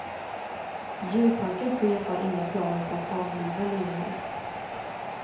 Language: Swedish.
Djurparkens chef har inga planer på att avliva lejonen.